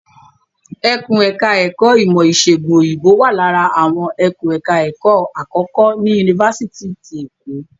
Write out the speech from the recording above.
Ẹkùn ẹ̀ka ẹ̀kó ìmọ̀ ìṣègùn Òyìnbó wà lára àwọn ẹkùn ẹ̀ka ẹ̀kó àkọ́kọ́ ní Yunifásitì ti Èkó.